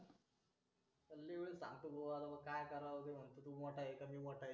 मग सांगावं लागतं की भाऊ काय कराव तू मोठा आहे की मी मोठा आहे